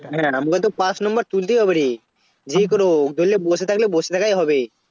হ্যাঁ আমরা তো পাশ Number তুলতে পারবো রে যাই করে হোক নাহলে বসে থাকলে বসে থাকাই হবে